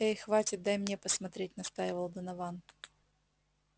эй хватит дай мне посмотреть настаивал донован